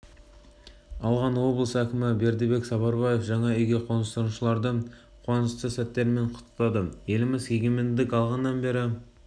алған облыс әкімі бердібек сапарбаев жаңа үйге қоныстанушыларды қуанышты сәттерімен құттықтады еліміз егемендік алғаннан бері